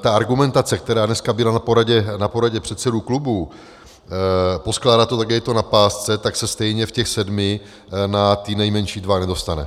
ta argumentace, která dneska byla na poradě předsedů klubů poskládat to tak, jak je to na pásce, tak se stejně v těch sedmi na ty nejmenší dva nedostane.